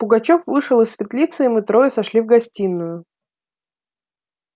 пугачёв вышел из светлицы и мы трое сошли в гостиную